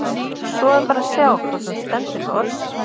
Svo er bara að sjá hvort hún stendur við orð sín!